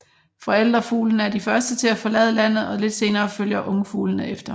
Forældrefuglene er de første til at forlade landet og lidt senere følger ungfuglene efter